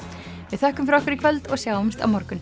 við þökkum fyrir okkur í kvöld og sjáumst á morgun